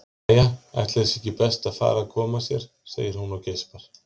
Jæja, ætli það sé ekki best að fara að koma sér, segir hún og geispar.